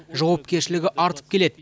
жауапкершілігі артып келеді